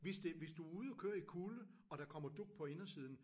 Hvis det hvis du ude at køre i kulde og der kommer dug på indersiden